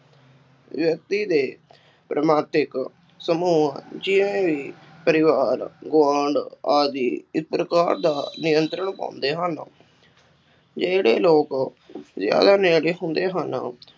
ਵਿਅਕਤੀ ਦੇ ਸਮੂਹ ਜਿਵੇਂ ਵੀ ਪਰਿਵਾਰ, ਗੁਆਂਢ ਆਦਿ ਇਸ ਪ੍ਰਕਾਰ ਦਾ ਨਿਯੰਤਰਣ ਪਾਉਂਦੇ ਹਨ, ਜਿਹੜੇ ਲੋਕ ਜ਼ਿਆਦਾ ਨੇੜੇ ਹੁੰਦੇ ਹਨ।